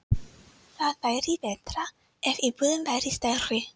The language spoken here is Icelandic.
Það væri betra ef íbúðin væri stærri.